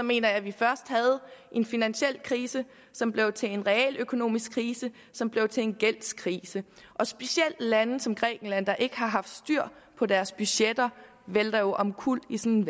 mener jeg at vi først havde en finansiel krise som blev til en realøkonomisk krise som blev til en gældskrise og specielt lande som grækenland der ikke har haft styr på deres budgetter vælter jo omkuld i sådan